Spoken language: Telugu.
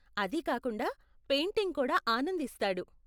అది కాకుండా, పెయింటింగ్ కూడా ఆనందిస్తాడు.